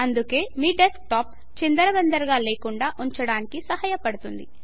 అందుకే మీ డెస్క్టాప్ చిందరవందరగా లేకుండా ఉంచడానికి సహాయపడుతుంది